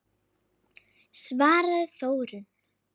svaraði Þórunn.